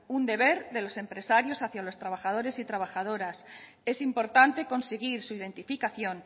un deber de los empresarios hacia los trabajadores y trabajadoras es importante conseguir su identificación